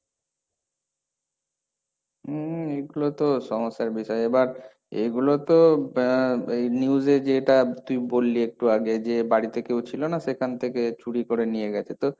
উম, এগুলো তো সমস্যার বিষয়, এবার এগুলো তো এই news এ যেটা তুই বললি একটু আগে, যে বাড়িতে ছিল না সেখান থেকে চুরি করে নিয়ে গেছে, তো,